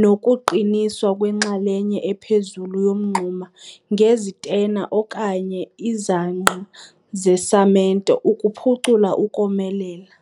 nokuqiniswa kwenxalenye ephezulu yomngxuma ngezitena okanye izangqa zesamente ukuphucula ukomelela.